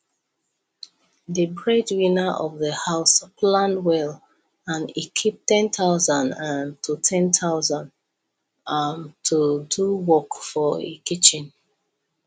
the breadwinner of the house plan well and e keep 10000 um to 10000 um to do work for e kitchen